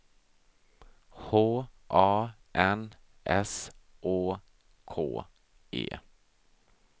H A N S Å K E